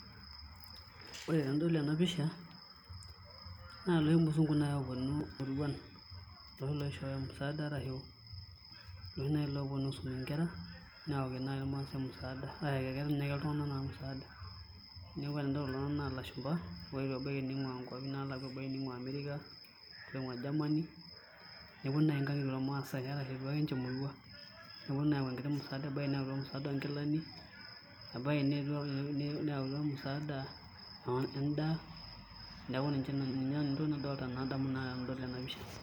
Ore tenadol ene pisha naa iloshi musungu naai ooponu imuruan iloshi loishoyo musaada arashu iloshi ooponu aisum nkera neyaki naai irmaasai musaada neeku tenadol kulo tung'anak naa ilashumba oetuo ebaiki ning'uaa nkuapi eboo nkuapi naalakua, etii iloing'uaa America etii iloing'uaa Germany neponu naai nkang'itie ormaasai arashu epuo ake ninche emurt neponu ayau enkiti musaada ebaiki neyautua musaada oonkilani ebaiki neyautua musaada endaa, neeku niche Nanu entoki nadamu tenadol ene pisha.